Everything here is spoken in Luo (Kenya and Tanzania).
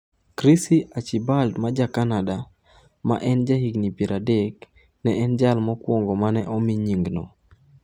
Chrissy Archibald ma ja Canada, ma en jahigni 30, ne en jal mokwongo mane omi nying'no.